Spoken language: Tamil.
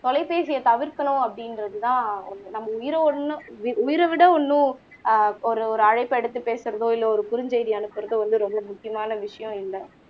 தொலைபேசிய தவிர்க்கணும் அப்படிங்குறது தான் ஒண்ணு நம்ம உயிர ஒண்ணும் உயிர விட ஒண்ணும் ஆஹ் ஒரு அழைப்ப எடுத்து பேசுறதோ இல்ல ஒரு குருஞசெய்தி அனுப்புறதோ வந்து ரொம்ப முக்கியமான விஷயம் இல்ல